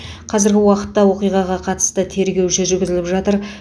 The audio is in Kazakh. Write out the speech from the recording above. қазіргі уақытта оқиғаға қатысты тергеу жүргізіліп жатыр